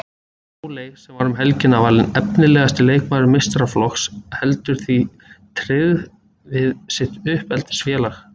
Sóley sem var um helgina valin efnilegasti leikmaður meistaraflokks heldur því tryggð við sitt uppeldisfélag.